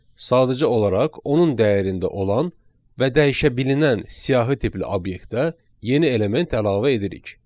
Sadəcə olaraq onun dəyərində olan və dəyişəbilinən siyahı tipli obyektə yeni element əlavə edirik.